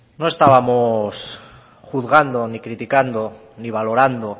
no estábamos juzgando ni criticando ni valorando